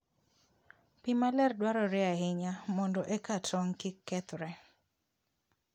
Pi maler dwarore ahinya mondo eka tong' kik kethre.